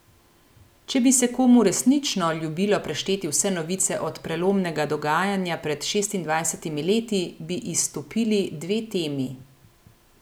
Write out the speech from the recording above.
Če bi se komu resnično ljubilo prešteti vse novice od prelomnega dogajanja pred šestindvajsetimi leti, bi izstopili dve temi.